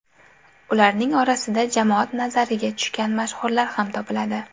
Ularning orasida jamoat nazariga tushgan mashhurlar ham topiladi.